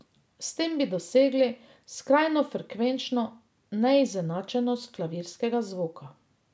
S tem bi dosegli skrajno frekvenčno neizenačenost klavirskega zvoka.